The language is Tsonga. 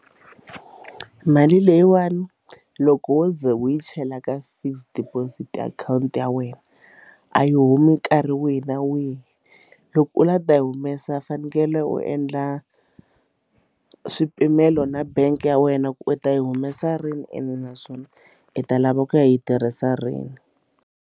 Mali leyiwani loko wo ze wu yi chela ka fixed deposit akhawunti ya wena a yi humi nkarhi wihi na wihi loko u la ta yi humesa u fanekele u endla swipimelo na bangi ya wena ku u ta yi humesa rini ene naswona i ta lava ku yi tirhisa rini.